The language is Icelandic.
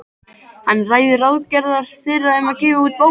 Hann ræðir ráðagerðir þeirra um að gefa út bók saman.